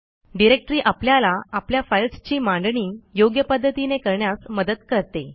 directory आपल्याला आपल्या फाईल्सची मांडणी योग्य पध्दतीने करण्यास मदत करते